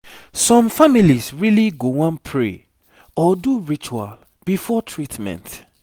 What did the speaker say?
some families really go wan pray or do ritual before treatment